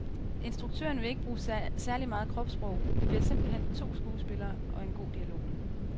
Instuktøren vil ikke bruge særlig meget kropssprog, det bliver simpelt hen to skuespillere og en god dialog.